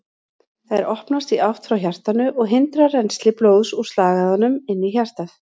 Þær opnast í átt frá hjartanu og hindra rennsli blóðs úr slagæðunum inn í hjartað.